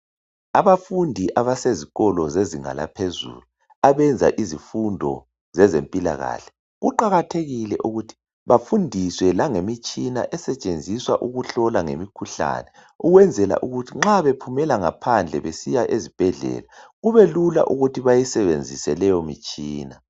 Abafundi abasezikolo zezinga laphezulu abenza izifundo zezempilakahle . Kuqakathekile ukuthi bafundiswe langemitshina esetshenziswa ukuhlola ngemikhuhlane .Ukwenzela ukuthi nxa bephumela ngaphandle besiya ezibhedlela kube lula ukuthi bayisebenzise leyo mitshina .